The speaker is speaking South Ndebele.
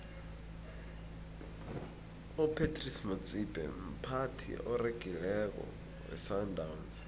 upratice motsipe mphathi oregileko wesandawnsi